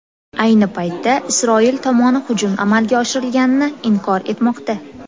Ayni paytda, Isroil tomoni hujum amalga oshirilganini inkor etmoqda.